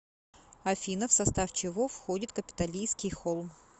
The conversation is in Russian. афина в состав чего входит капитолийский холм